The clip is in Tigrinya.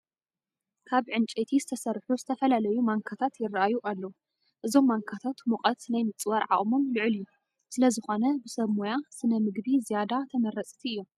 ካብ ዕንጨይቲ ዝተሰርሑ ዝተፈላለዩ ማንካታት ይርአዩ ኣለዉ፡፡ እዞም ማንካታት ሙቐት ናይ ምፅዋር ዓቕሞም ልዑል እዩ፡፡ ስለዝኾነ ብሰብ ሞያ ስነ ምግቢ ዝያዳ ተመረፅቲ እዮም፡፡